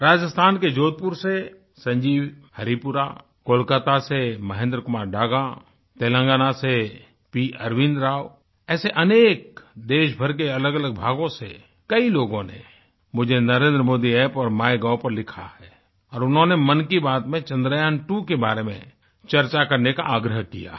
राजस्थान के जोधपुर से संजीव हरीपुरा कोलकाता से महेंद्र कुमार डागा तेलंगाना से पी अरविन्द राव ऐसे अनेक देशभर के अलगअलग भागों से कई लोगों ने मुझे NarendraModiApp और MyGovपर लिखा है और उन्होंने मन की बात में चन्द्रयांत्वो के बारे में चर्चा करने का आग्रह किया है